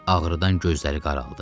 Ağrıdan gözləri qaraldı.